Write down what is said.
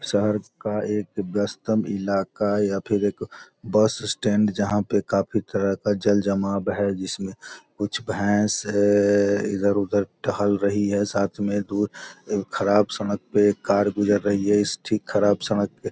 शहर का एक व्यवस्तम इलाका या फिर एक बस स्टैंड जहाँ पर काफी तरह का जल-जमाव हैं जिसमें कुछ भैंस इधर-उधर टहल रही हैं साथ में दूर खराब सड़क पर कार गुजर रही हैं इस ठीक खराब सड़क --